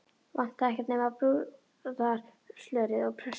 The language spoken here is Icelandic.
Vantaði ekkert nema brúðarslörið og prestinn.